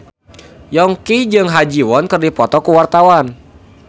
Yongki jeung Ha Ji Won keur dipoto ku wartawan